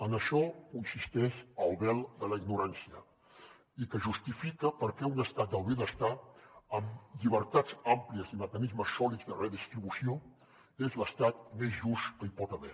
en això consisteix el vel de la ignorància i que justifica per què un estat del benestar amb llibertats àmplies i mecanismes sòlids de redistribució és l’estat més just que hi pot haver